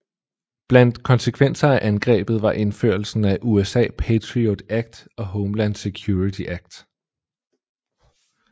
Blandt konsekvenser af angrebet var indførelsen af USA PATRIOT Act og Homeland Security Act